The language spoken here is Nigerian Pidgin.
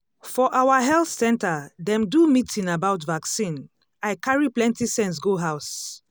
for our health center dem do meeting about vaccine i carry plenty sense go house.